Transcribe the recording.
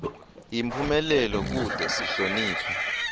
yimphumelelo kute sihloniphe